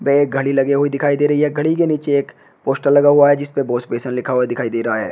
एक घड़ी लगे हुए दिखाई दे रही है घड़ी के नीचे एक पोस्टर लगा हुआ है जिसपे वाश बेसिन लिखा हुआ दिखाई दे रहा है।